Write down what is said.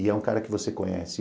E é um cara que você conhece.